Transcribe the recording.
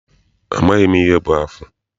Amaghị m ihe bụ afụ.